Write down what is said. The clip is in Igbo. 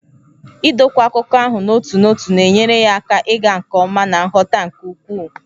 Idokwa akụkọ ahụ n'otu n'otu na-enyere ya aka ịga nke ọma na nghọta nke ukwuu.